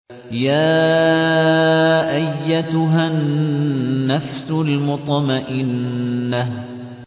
يَا أَيَّتُهَا النَّفْسُ الْمُطْمَئِنَّةُ